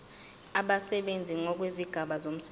abasebenzi ngokwezigaba zomsebenzi